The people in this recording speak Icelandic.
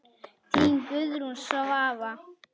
Þín Guðrún Svava.